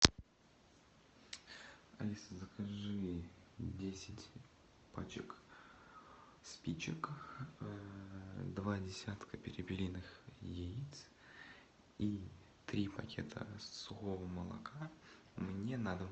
алиса закажи десять пачек спичек два десятка перепелиных яиц и три пакета сухого молока мне на дом